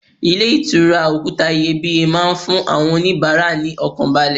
Ilé ìtura òkúta iyebíye máa ń fún àwọn onibaara ní ọkàn balẹ̀.